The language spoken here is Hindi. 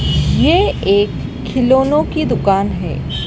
ये एक खिलौनो की दुकान है।